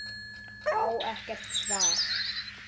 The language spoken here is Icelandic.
Á ekkert svar.